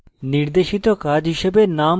নির্দেশিত কাজ হিসাবে